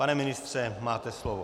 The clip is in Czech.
Pane ministře, máte slovo.